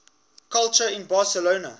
culture in barcelona